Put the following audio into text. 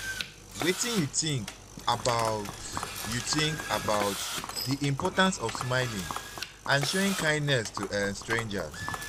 wetin you think about you think about di importance of smiling and showing kindness to um strangers?